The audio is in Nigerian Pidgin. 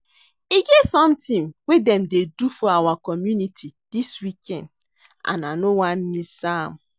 E get something wey dem dey do for our community dis weekend and I no wan miss am